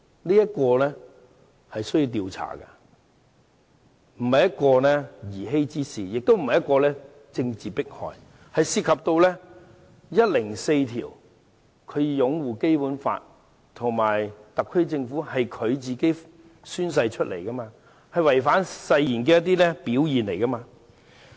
這件事需要時間調查，不是兒戲之事，也不是政治迫害，而是涉及《基本法》第一百零四條所提及的擁護《基本法》和特區政府，即他宣誓的內容，而他的行為是違反誓言的表現。